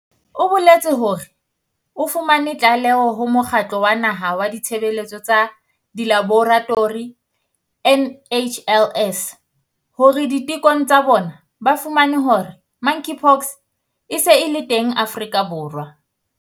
O boletse hore o fumane tlaleho ho Mokgatlo wa Naha wa Ditshebeletso tsa Dilaboratori, NHLS, hore ditekong tsa bona ba fumane hore Monkeypox e se e le teng Afrika Borwa.